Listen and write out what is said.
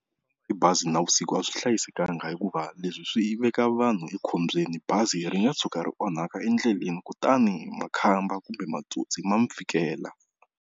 Hi bazi navusiku a swi hlayisekanga hikuva leswi swi veka vanhu ekhombyeni bazi ri nga tshuka ri onhaka endleleni kutani makhamba kumbe matsotsi ma mi fikela.